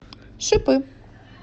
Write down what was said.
шипы